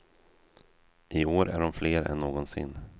I år är de fler än någonsin.